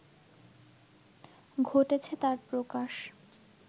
ঘটেছে তার প্রকাশ